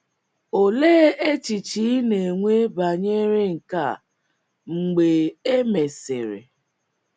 Olee echiche ị na - enwe banyere nke a mgbe e e mesịrị?